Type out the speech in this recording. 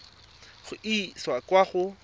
go e isa kwa go